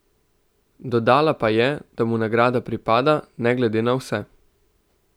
Dodala pa je, da mu nagrada pripada, ne glede na vse.